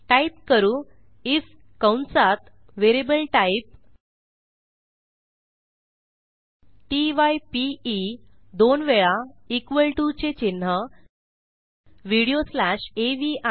type करू IF कंसात variable type t y p e दोन वेळा इक्वॉल टीओ चे चिन्ह व्हिडिओ स्लॅश अवी